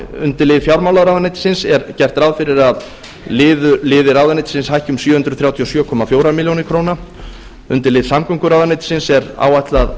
undir lið fjármálaráðuneytisins er gert ráð fyrir að liðir ráðuneytisins hækki um sjö hundruð þrjátíu og sjö komma fjögur ár undir lið samgönguráðuneytisins er áætlað